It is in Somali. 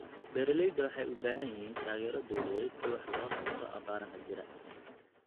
Beeralayda waxay u baahan yihiin taageero dawladeed si wax looga qabto abaaraha jira.